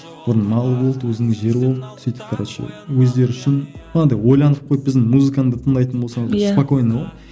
бұрын мал болды өзінің жері болды сөйтіп короче өздері үшін анандай ойланып қойып біздің музыканы да тыңдайтын болсаңыз иә спокойно ғой